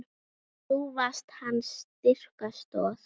Þú varst hans styrka stoð.